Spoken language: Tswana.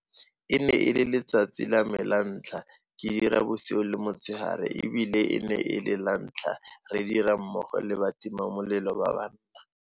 E ne e le letsatsi la me la ntlha ke dira bosigo le motshegare e bile e ne e le lantlha re dira mmogo le batimamelelo ba banna.